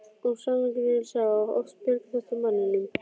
Og sannleikurinn er sá að oft bjargar þetta manninum.